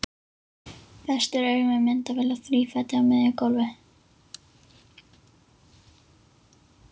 Festir augun við myndavél á þrífæti á miðju gólfi.